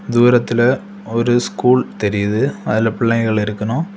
தூரத்துல ஒரு ஸ்கூல் தெரிது அதுல பிள்ளைகள் இருக்கணு.